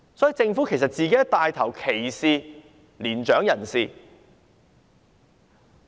所以，政府自己也在牽頭歧視年長人士。